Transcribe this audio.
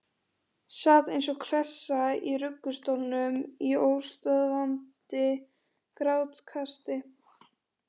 Sat eins og klessa í ruggustólnum í óstöðvandi grátkasti.